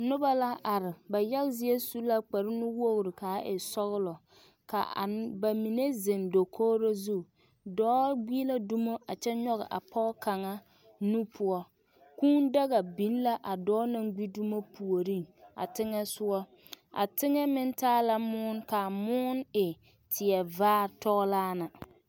Noba la are ba ba yaga zie su la kparenuwogri kaa e sɔglɔ ka a ba mine zeŋ dakogro zu dɔɔ gbi la dumo a kyɛ nyɔge a pɔge kaŋa nu poɔ Kūū daga biŋ la a dɔɔ na naŋ gbi dumo puoriŋ a teŋɛ sogɔ a teŋɛ meŋ taa la moɔ k,a moɔ e teɛ vaare tɔɔlaa na.